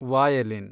violin